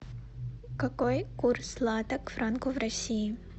какой курс лата к франку в россии